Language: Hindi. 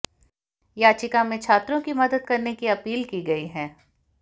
याचिका में छात्रों की मदद करने की अपील की गई है